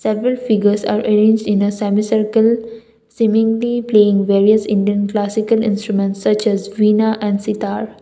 every figures are arranged in a semicircle seeming the playing various Indian classical instruments such as veena and sitar.